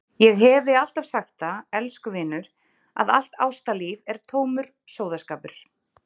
Ég hefi alltaf sagt það, elsku vinur, að allt ástalíf er tómur sóðaskapur.